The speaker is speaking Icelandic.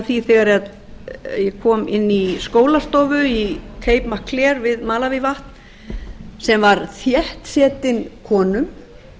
því þegar ég kom inn í skólastofu í cape mcclear við malavívatn sem var þéttsetin konum